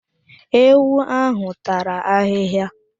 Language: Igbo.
Ewu ahụ tara ahịhịa.